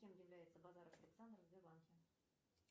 кем является базаров александр в сбербанке